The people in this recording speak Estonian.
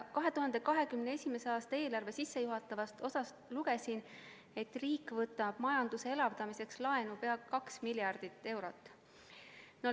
2021. aasta eelarve sissejuhatavast osast lugesin, et riik võtab majanduse elavdamiseks laenu ligi 2 miljardit eurot.